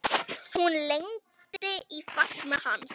Hún lendir í fangi hans.